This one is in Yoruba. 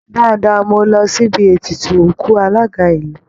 Dáadáa, mo lọ síbi ètùtù òkú alága ìlú